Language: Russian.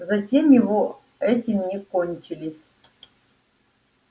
затеи его этим не кончились